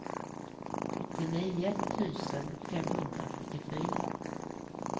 sjuttionio tusen femhundrasjuttiofyra